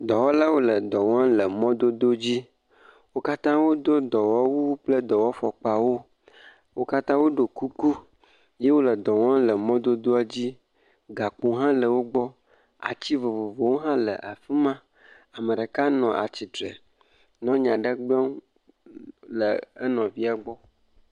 Dɔwɔlawo le mɔdododzi. Wo katã wodo dɔwɔwu kple dɔwɔfɔkpawo. Wo katã wo ɖiɔ kuku ye wole dɔ wɔm le mɔdodoa dzi. Gokpowo hã le wogbɔ, atsi vovovowo hã le afi ma. Ame ɖeka nɔ atsi tre nɔ nya aɖe gblɔm le enɔvia gbɔ.